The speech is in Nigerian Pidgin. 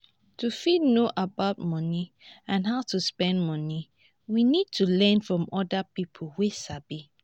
to fit know about money and how to spend money we need to learn from oda pipo wey sabi